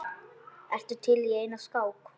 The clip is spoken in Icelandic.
Ertu til í eina skák?